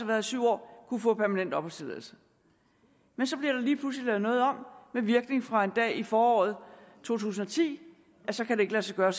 her i syv år at kunne få permanent opholdstilladelse men så bliver der lige pludselig lavet noget om med virkning fra en dag i foråret to tusind og ti og så kan det ikke lade sig gøre